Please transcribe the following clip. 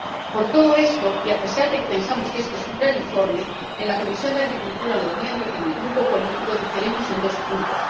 Por todo esto, y a pesar de que pensamos que este es un gran informe, en la Comisión de Agricultura los miembros de mi grupo político diferimos en dos puntos.